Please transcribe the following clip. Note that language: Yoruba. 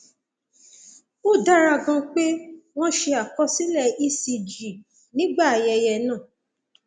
ó dára ganan pé wọn ṣe àkọsílẹ ecg nígbà ayẹyẹ náà